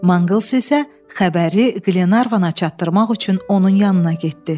Mangls isə xəbəri Glenarvana çatdırmaq üçün onun yanına getdi.